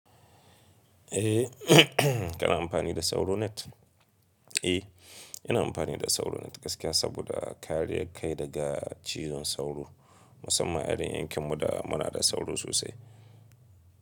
Eh, kana amfani da sauro net? Eh, ina amfani da sauro net gaskiya saboda kariyar kai daga cizon sauro musamman irin yankin mu da muna da sauro sosai.